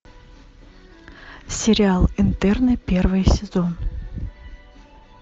сериал интерны первый сезон